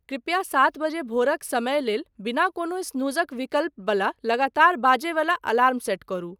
कृपया सात बजे भोरक समय लेल बिना कोनो स्नूजक विकल्प बला लगातार बाजै बला अलार्म सेट करू